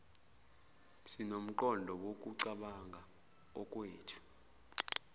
sinomqondo wokucabanga okwethu